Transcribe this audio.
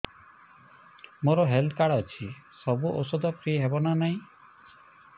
ମୋର health card ଅଛି ସବୁ ଔଷଧ ଫ୍ରି ହବ ନା ନାହିଁ